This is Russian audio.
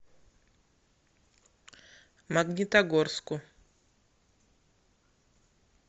магнитогорску